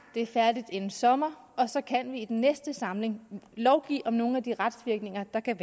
det er færdigt inden sommer og så kan vi i den næste samling lovgive om nogle af de retsvirkninger der kan